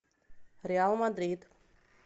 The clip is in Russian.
реал мадрид